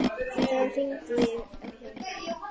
Þá hringdi ég á hjálp.